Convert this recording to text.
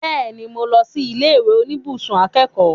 Bẹ́ẹ̀ni, mo lọ sí ilé ìwé oníbùsùn akẹ́kọ̀ọ́